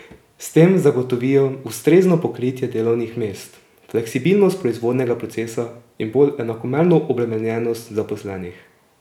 S tem zagotovijo ustrezno pokritje delovnih mest, fleksibilnost proizvodnega procesa in bolj enakomerno obremenjenost zaposlenih.